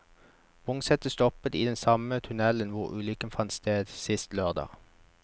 Vognsettet stoppet i den samme tunnelen hvor ulykken fant sted sist lørdag.